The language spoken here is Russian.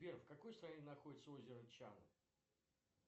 сбер в какой стране находится озеро чаны